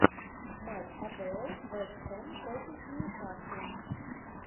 матч апл вест хэм против ньюкасла